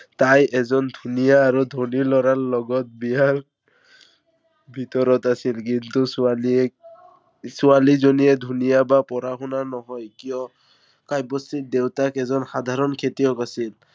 তাই এজন ধুনীয়া আৰু ধনী লৰাৰ লগত বিয়াৰ ভিতৰত আছিল। কিন্তু ছোৱালীয়ে ছোৱালীজনী ধুনীয়া বা পঢ়া-শুনা নহয়। কাৰন কাব্যশ্ৰীৰ দেউতাক এজন সাধাৰণ খেতিয়ক আছিল।